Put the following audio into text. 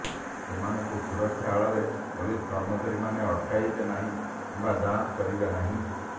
ସେମାନଙ୍କୁ ସୁରକ୍ଷା ଆଳରେ ପୋଲିସ୍ କର୍ମଚାରୀମାନେ ଅଟକାଇବେ ନାହିଁ କିମ୍ବା ଯାଞ୍ଚ କରିବେ ନାହିଁ